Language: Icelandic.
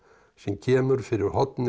sem kemur fyrir hornið